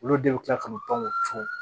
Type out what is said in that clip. Olu de bɛ kila k'o tɔn